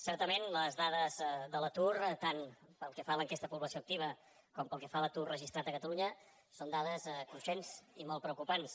certament les dades de l’atur tant pel que fa a l’enquesta de població activa com pel que fa a l’atur registrat a catalunya són dades cruixents i molt preocupants